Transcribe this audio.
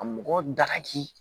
Ka mɔgɔ dagaki